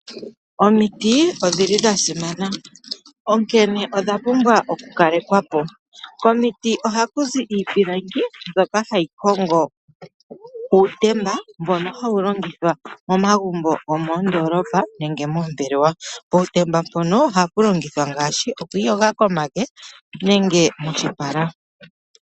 Omiti odhi li dha simana onkene odha pumbwa oku kalekwa po. Komiti ohaku zi iipilangi mbyoka hayi hongo uutemba mbono hawu longithwa momagumbo gomoondoolopa nenge moombelewa. Puutemba mpono ohapu longithwa ngaashi okwi iyoga komake nenge moshipala.